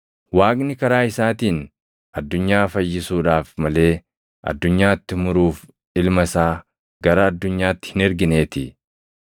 Waaqni karaa isaatiin addunyaa fayyisuudhaaf malee addunyaatti muruuf Ilma isaa gara addunyaatti hin ergineetii.